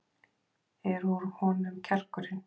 Er úr honum kjarkurinn?